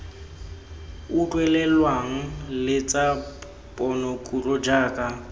utlwelelwang le tsa ponokutlo jaaka